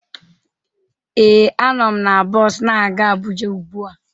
Ee, a nọ m na bọs na-aga Abuja ugbu a